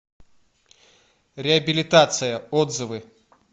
реабилитация отзывы